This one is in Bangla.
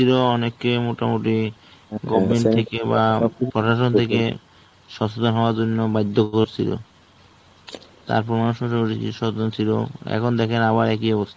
অনেকে মোটামুটি Government থেকে বা প্রশাসন থেকে সচেতন হওয়ার জন্য বাধ্য করেছিল. তারপর এখন দেখেন আবার একই অবস্থা.